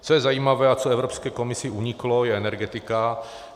Co je zajímavé a co Evropské komisi uniklo, je Energetika.